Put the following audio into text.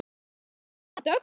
Þín Hanna Dögg.